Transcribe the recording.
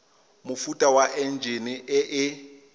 mofuta wa enjine e e